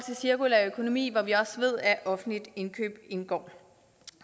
cirkulær økonomi hvor vi også ved at offentligt indkøb indgår